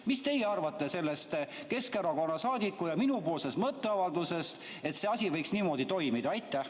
Mis teie arvate sellest Keskerakonna saadiku ja minu mõtteavaldusest, et see asi võiks niimoodi toimida?